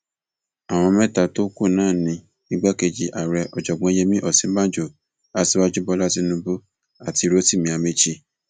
àwọn mẹta tó kù náà ni igbákejì ààrẹ ọjọgbó yẹmi òsínbàjò aṣíwájú bọlá tínúbù àti rotimi amaechi